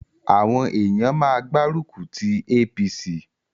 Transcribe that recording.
Àwọn èèyàn má gbá rùkùtí APC